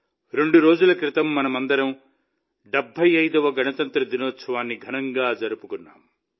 రెండు రోజుల క్రితం మనమందరం 75వ గణతంత్ర దినోత్సవాన్ని ఘనంగా జరుపుకున్నాం